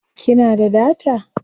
kina da data?